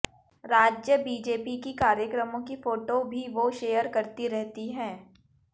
राज्य बीजेपी की कार्यक्रमों की फोटो भी वो शेयर करती रहती हैं